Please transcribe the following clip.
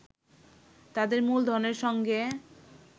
তাদের মূলধনের সঙ্গে